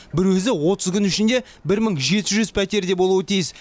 бір өзі отыз күн ішінде бір мың жеті жүз пәтерде болуы тиіс